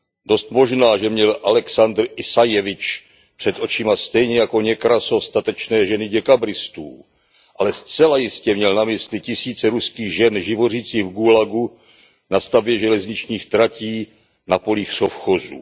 Dost možná, že měl Alexandr Isajevič před očima stejně jako Někrasov statečné ženy děkabristů, ale zcela jistě měl na mysli tisíce ruských žen živořících v gulagu, na stavbě železničních tratí, na polích sovchozů.